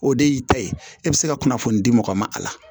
O de y'i ta ye e bɛ se ka kunnafoni di mɔgɔ ma a la